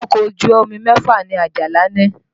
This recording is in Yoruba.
Ọkọ̀ ojú omi mẹ́fà ni Àjàlá ní